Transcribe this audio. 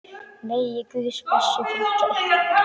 Megi Guðs blessun fylgja ykkur.